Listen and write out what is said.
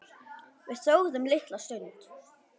Við þögðum litla stund.